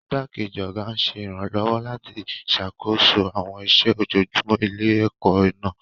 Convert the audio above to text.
Igbákejì ọ̀gá ń ṣe ìrànlọ́wọ́ láti ṣàkóso àwọn iṣẹ́ ojoojúmọ́ ilé-ẹ̀kọ́ náà.